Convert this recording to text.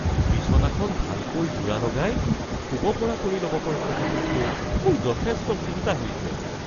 বিছনাখন ভালকৈ যোৰা লগাই শুব পৰা কৰি লব পৰা কথাটোকলৈ মোৰ যথেষ্ট চিন্তা হৈছে।